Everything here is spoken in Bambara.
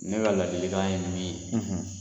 Ne ka lalikan ye min ye